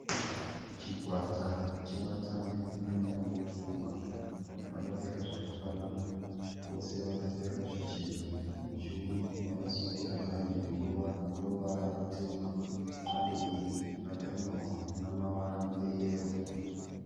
Chikwata chevatambi vemutambo wekurwa vakapfeka zvakafanana vose vakapfeka zvichena muchiuno vakasungira bhadhe rinoruvara rutema bhadhe iri rakanyorwa namavara eyero.